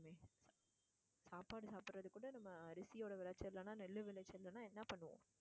சாப்பாடு சாப்பிடறதுக்கு நம்ம அரிசியோட விளைச்சல் இல்லைன்னா நெல் விளைச்சல் இல்லைன்னா என்ன பண்ணுவோம்?